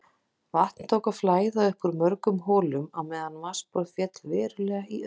Vatn tók að flæða upp úr mörgum holum á meðan vatnsborð féll verulega í öðrum.